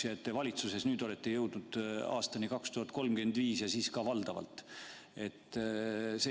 Nüüdseks olete valitsuses jõudnud aastani 2035 ja ka "valdavast".